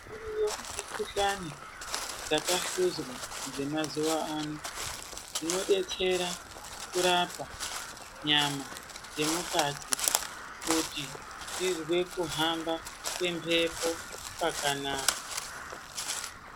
Kune mikuhlani dzakahluzwa dzemazuva ano dzinobetsera kurapa nyama dzemukati kuti tizwee kuhamba kwemhepo kwakanaka.